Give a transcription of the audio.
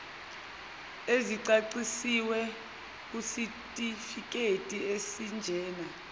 ezicacisiwe kusitifiketi esinjena